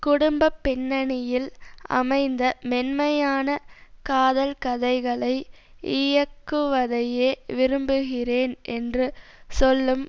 குடும்ப பின்னணியில் அமைந்த மென்மையான காதல்கதைகளை இயக்குவதையே விரும்புகிறேன் என்று சொல்லும்